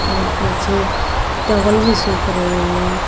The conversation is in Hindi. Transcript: और पीछे टावल भी सूख रहे हैं।